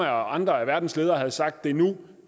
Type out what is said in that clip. andre af verdens ledere havde sagt at det er nu